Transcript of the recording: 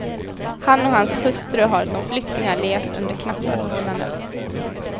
Han och hans hustru har som flyktingar levt under knappa förhållanden.